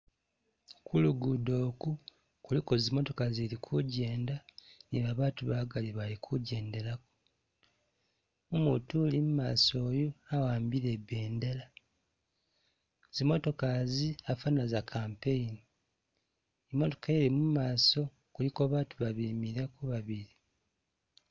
Kulugudo iku, kuliko zimotoka zili kugyenda ni babatu bagali bali kugyendelako, umutu uli imaaso uyu awambile i bendela, zimotoka izi afana za campaign, imotoka ili mumaso kuliko batu babemileko babili.